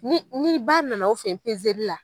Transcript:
Ni ni ba nana aw fɛ yen pezeli la